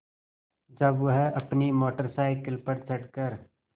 जब वह अपनी मोटर साइकिल पर चढ़ कर